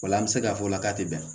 O la an bɛ se k'a fɔ o la k'a tɛ bɛn